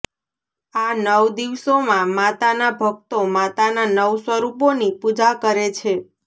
આ નવ દિવસોમાં માતાના ભક્તો માતાના નવ સ્વરૂપોની પૂજા કરે છે